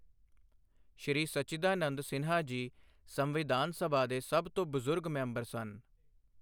ਸ਼੍ਰੀ ਸਚੀਦਾਨੰਦ ਸਿਨਹਾ ਜੀ ਸੰਵਿਧਾਨ ਸਭਾ ਦੇ ਸਭ ਤੋਂ ਬੁਜ਼ੁਰਗ ਮੈਂਬਰ ਸਨ।